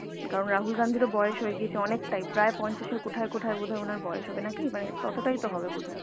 কারণ রাহুল গান্ধীর ও বয়স হয়ে গিয়েছে অনেকটাই প্রায় পঞ্চাশের কোঠায় কোঠায় ওনার বয়স হবে নাকি মানে ততটাই তো হবে বোধহয়